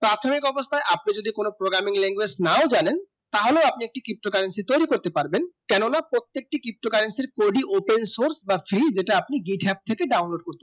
প্রাথমিক অবস্থা আপনি যদি কোনো Programming language না জানেন তাহলে একটি কৃতিম Currency তৈরি করতে পারবেন কেননা প্রত্যেকটি কৃতিম Currency এর Coding open আপনি Download করতে